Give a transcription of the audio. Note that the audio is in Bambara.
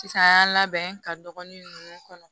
Sisan an y'an labɛn ka dɔgɔnin ninnu kɔnɔ